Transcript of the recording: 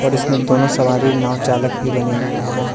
इसमें दोनों सवारी नव चालक भी बने हुए हैं।